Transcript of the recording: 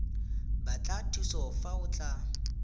batla thuso fa o tlatsa